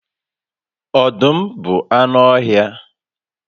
Ọdụm bụ anụ ọhịa